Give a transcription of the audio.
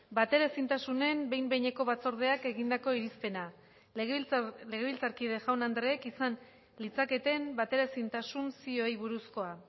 bateraezintasunen behin behineko batzordeak egindako irizpena legebiltzarkide jaun andreek izan litzaketen bateraezintasun zioei buruzkoa